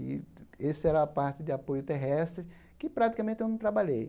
E esse era a parte de apoio terrestre que praticamente eu não trabalhei.